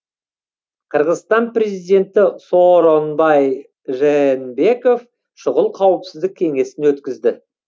қырғызстан президенті сооронбай жээнбеков шұғыл қауіпсіздік кеңесін өткізді